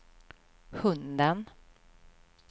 hunden